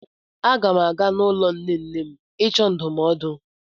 Aga m aga n'ụlọ nne nne m ịchọ ndụmọdụ.